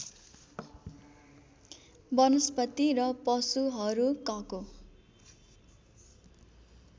वनस्पति र पशुहरूकको